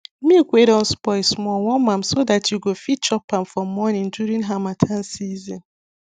milk wey don spoil small warm am so dat yo go fit chop am for morning during harmattan season